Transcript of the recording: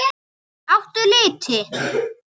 Áttu liti?